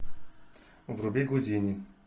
вруби гудини